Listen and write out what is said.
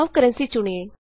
ਆਉ ਕਰੰਸੀ ਚੁਣੀਏ